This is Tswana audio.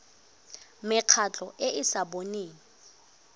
mekgatlho e e sa boneng